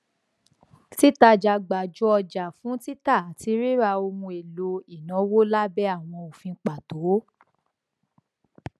títajà gbanjo ọjà fún títa àti ríra ohun èlò ìnáwó lábẹ àwọn òfin pàtó